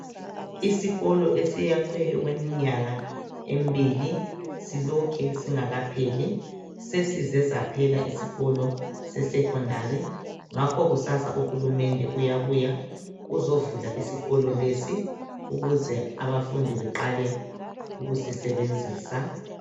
Isikolo esakhiwe okweminyaka emibili silokhe singakapheli. Sesize saphela isikolo sesecondary ngakho kusasa uhulumende uyabuya uzovula isikolo lesi ukuze abafundi beqale ukusisebenzisa.